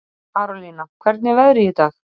Karolína, hvernig er veðrið í dag?